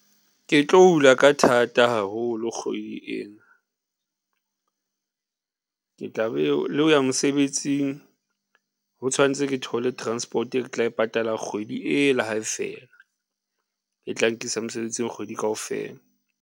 Ke tlo hula ka thata haholo kgwedi ena ke tla be, le ho ya mosebetsing, ho tshwantse ke thole transport e ke tla e patala kgwedi e la hae fela, e tla nkisa mosebetsing kgwedi kaofela.